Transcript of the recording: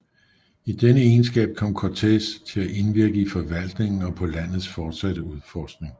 I denne egenskab kom Cortés at indvirke i forvaltningen og på landets fortsatte udforskning